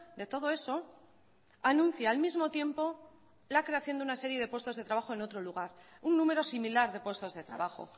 de todo eso anuncia al mismo tiempo la creación de una serie de puestos de trabajo en otro lugar un número similar de puestos de trabajo